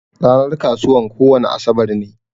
Ranar kasuwan kowani asabar ne.